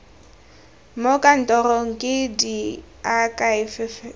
mo kantorong ke diakhaefe tsa